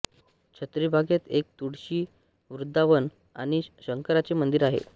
छत्रीबागेत एक तुळशी वृंदावन आणि शंकराचे मंदिर आहे